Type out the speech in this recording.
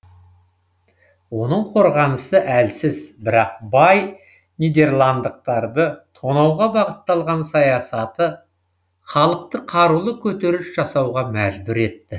оның қорғанысы әлсіз бірақ бай нидерландықтарды тонауға бағытталған саясаты халықты қарулы көтеріліс жасауға мәжбүр етті